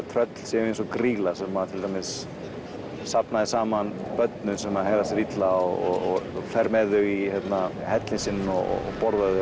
tröll séu eins og grýla sem til dæmis safna saman börnum sem hegða sér illa og fer með þau í hellinn sinn og borðar þau